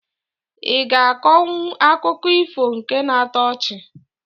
I ga akọnwụ akụkọ ifo nke na-atọ ọchị?